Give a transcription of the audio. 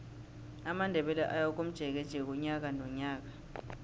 amandebele ayakomjekeje unyaka nonyaka